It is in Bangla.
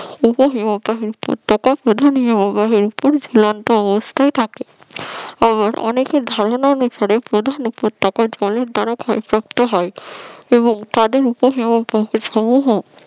উপ হিমবাহের উপত্যাকা প্রধান হিমবাহের উপর ঝুলন্ত অবস্থায় থাকে আবার অনেকের ধারণা অনুসারে প্রধান উপত্যাকা জলের দ্বারা ক্ষয় প্রাপ্ত হয় এবং তাদের উপ হিমবাহের সমুহ